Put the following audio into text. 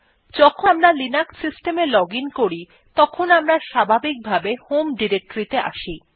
যখন আমরা Linux system এ লজিন করি তখন আমরা স্বাভাবিকভাবে হোম ডিরেক্টরি আসি